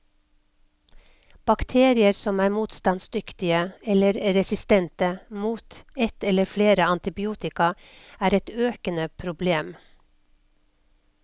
Bakterier som er motstandsdyktige, eller resistente, mot et eller flere antibiotika, er et økende problem.